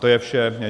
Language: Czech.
To je vše.